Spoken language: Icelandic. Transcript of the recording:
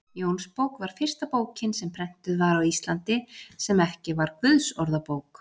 Jónsbók var fyrsta bókin sem prentuð var á Íslandi, sem ekki var Guðsorðabók.